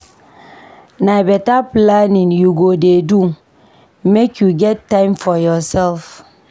Na beta planning you go dey do make you get time for yoursef.